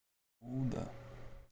ну да